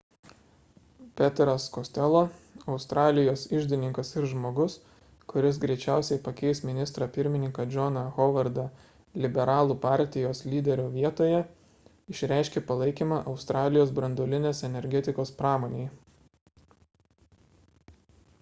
peteras costello australijos iždininkas ir žmogus kuris greičiausiai pakeis ministrą pirmininką johną howardą liberalų partijos lyderio vietoje išreiškė palaikymą australijos branduolinės energetikos pramonei